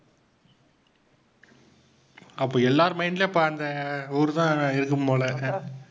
அப்ப எல்லார் mind லேயும் அப்பா அந்த ஊர் தான் இருக்கும் போல ஆஹ்